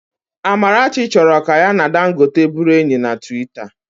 Amarachi chọrọ ka ya na Dangote bụrụ enyi na Twita